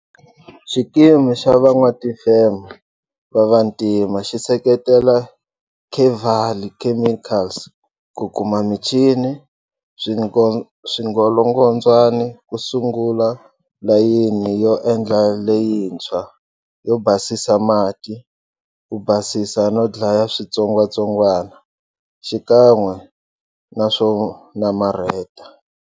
Xikimu xa Van'watifeme va Vantima xi seketela Kevali Chemicals ku kuma michini swingolongondzwani ku sungula layini yo endla leyintshwa yo basisa mati, ku basisa no dlaya switsongwatsongwana xikan'we na swo namarheta.